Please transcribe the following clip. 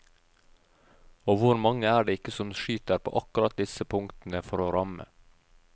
Og hvor mange er det ikke som skyter på akkurat disse punktene, for å ramme.